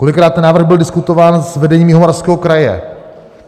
Kolikrát ten návrh byl diskutován s vedením Jihomoravského kraje?